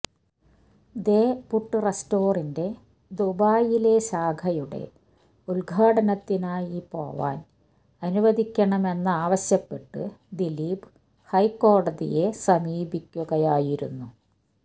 ദേ പുട്ട് റെസ്റ്റോറന്റിന്റെ ദുബായിലെ ശാഖയുടെ ഉദ്ഘാടനത്തിനായി പോവാന് അനുവദിക്കണമെന്നാവശ്യപ്പെട്ട് ദിലീപ് ഹൈക്കോടതിയെ സമീപിക്കുകയായിരുന്നു